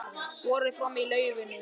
Borið fram í laufinu